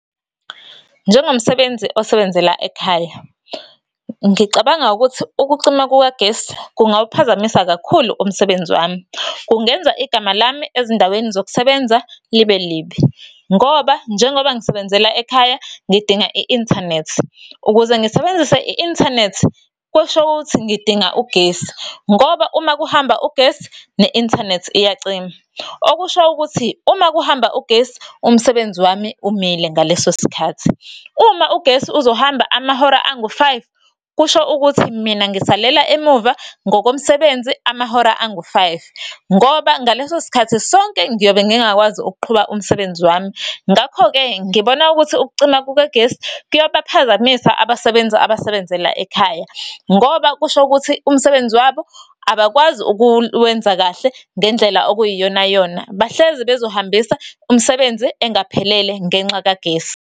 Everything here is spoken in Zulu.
Njengomsebenzi osebenzela ekhaya, ngicabanga ukuthi ukucima kukagesi kungawuphazamisa kakhulu umsebenzi wami. Kungenza igama lami ezindaweni zokusebenza libe libi, ngoba njengoba ngisebenzela ekhaya ngidinga i-inthanethi. Ukuze ngisebenzise i-inthanethi kusho ukuthi ngidinga ugesi, ngoba uma kuhamba ugesi, ne-inthanethi iyacima. Okusho ukuthi uma kuhamba ugesi umsebenzi wami umile ngaleso sikhathi. Uma ugesi uzohamba amahora angu-five, kusho ukuthi mina ngisalela emuva ngokomsebenzi amahora angu-five, ngoba ngalesosikhathi sonke ngiyobe ngingakwazi ukuqhuba umsebenzi wami. Ngakho-ke ngibona ukuthi ukucima kukagesi kuyabaphazamisa abasebenzi abasebenzela ekhaya, ngoba, kusho ukuthi umsebenzi wabo abakwazi ukuwenza kahle ngendlela okuyiyonayona. Bahlezi bezohambisa umsebenzi engaphelele ngenxa kagesi.